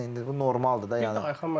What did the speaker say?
Yəni indi bu normaldır da.